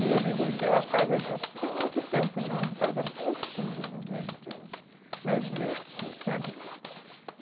E ele vendeu a casa, não tem não tem muito tempo não, a casa é bonitinha ele vendeu, mas é assim, sabe?